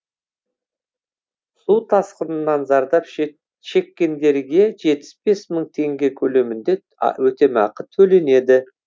су тасқынынан зардап шеккендерге жетпіс бес мың теңге көлемінде өтемақы төленеді